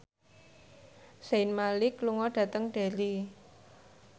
Zayn Malik lunga dhateng Derry